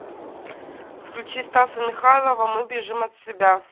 включи стаса михайлова мы бежим от себя